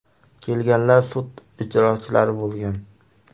Kelganlar sud ijrochilari bo‘lgan.